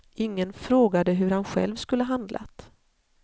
Ingen frågade hur han själv skulle handlat.